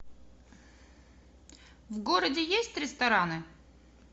в городе есть рестораны